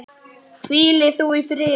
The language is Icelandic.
Hvíli þú í friði.